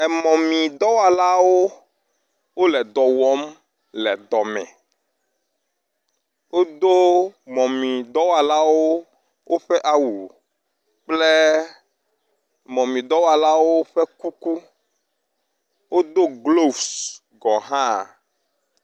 Emɔmidɔwɔlawo wole dɔ wɔm le dɔme. Wodo mɔmidɔwɔlawo ƒe awu kple mɔmidɔwɔlawo ƒe kuku. Wodo glovesi gɔ hã.